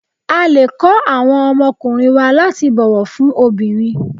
A lè kọ́ àwọn ọmọkùnrin wa láti bọ̀wọ̀ fún obìnrin.